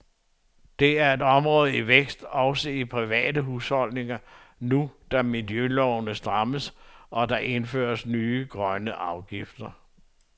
Det er et område i vækst også i private husholdninger, nu da miljølovene strammes og der indføres nye grønne afgifter.